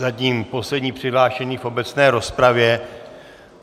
Zatím poslední přihlášený v obecné rozpravě.